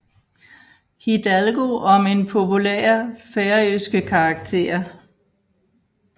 Hidalgo om en populær færøske karakter